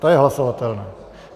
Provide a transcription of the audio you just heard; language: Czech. To je hlasovatelné.